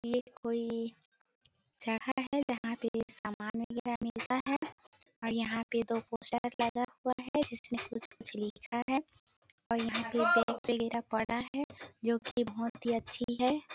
ये कोई जगह है जहाँ पे सामान वगेरा मिलता है और यहाँ पे दो पोस्टर लगा हुआ है जिस पे कुछ कुछ लिखा है और यहाँ पे दो तिला पड़ा है जो कि बहोत ही अच्छी है।